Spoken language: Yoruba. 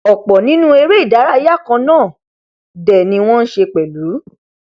ọ̀pọ̀ nínú eré ìdárayá kan náà dẹ̀ ni wọn n ṣe pẹlú